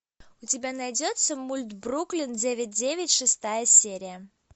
у тебя найдется мульт бруклин девять девять шестая серия